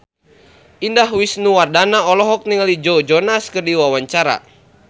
Indah Wisnuwardana olohok ningali Joe Jonas keur diwawancara